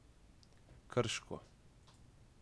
Krško.